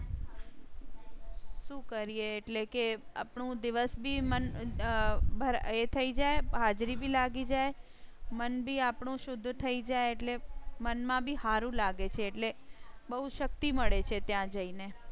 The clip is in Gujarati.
શું કરીએ એટલે કે આપણું દિવસ બી એ થઇ જાય. હાજરી ભી લાગી જાય મન ભી આપણું શુદ્ધ થઈ જાય એટલે મન માં બી હારું લાગે છે એટલે બહુ શક્તિ મળે છે ત્યાં જઈ ને.